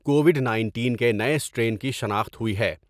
Covid nineteen کے نئے strain کی شناخت ہوئی ہے ۔